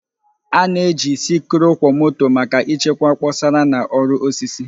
A na-eji sikruokwomoto maka ịchekwa kposara na ọrụ osisi